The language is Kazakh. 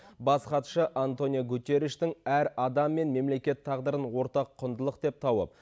бас хатшы антонио гутерриштің әр адам мен мемлекет тағдырын ортақ құндылық деп тауып